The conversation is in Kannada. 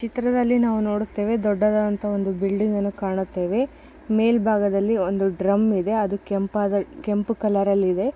ಚಿತ್ರದಲ್ಲಿ ನಾವು ನೋಡುತ್ತೇವೆ ದೊಡ್ಡದ ಅಂತಹ ಒಂದು ಬಿಲ್ಡಿಂಗ್ ಅನ್ನ ಕಾಣುತ್ತೇವೆ. ಮೇಲ್ಭಾಗದಲ್ಲಿ ಒಂದು ಡ್ರಮ್ ಇದೆ. ಅದು ಕೆಂಪಾದ ಕೆಂಪು ಕಲರ್ ಅಲ್ಲ ಇದೆ.